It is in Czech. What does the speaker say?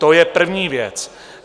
To je první věc.